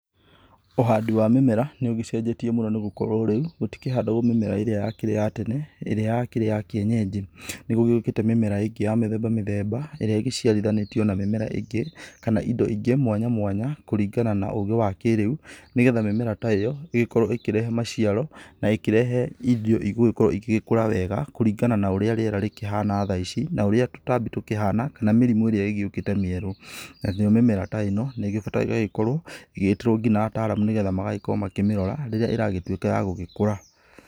Ũhandi wa mĩmera, nĩũgĩcenjetie mũno nĩgũkorwo rĩu, gũtikĩhandagwo mĩmera ĩrĩa yakĩrĩ ya tene, ĩrĩa yakĩrĩ ya kĩenyenji. Nĩgũgĩũkĩte mĩmera ĩngĩ ya mĩthemba mĩthemba, ĩrĩa ĩgĩciarithanĩtio na mĩmera ĩngĩ, kana indo ingĩ mwanya mwanya, kũringana na ũgĩ wa kĩrĩu, nĩgetha mĩmera ta ĩyo, ĩgĩkorwo ĩkĩrehe maciaro, na ĩkĩrehe indo igũgĩkorwo igĩkũra wega, kũringana na ũrĩa rĩera rĩkĩhana thaa ici, na ũrĩa tũtambi tũkĩhana, kana mĩrimũ ĩrĩa ĩgĩũkĩte mĩerũ. Nayo mĩmera ta ĩno, nĩĩgĩbataire gũgĩkorwo ĩgĩtĩrwo nginya ataaramu nĩgetha magagĩkorwo makĩmĩrora, rĩrĩa ĩragĩtuĩka ya gũgĩkũra.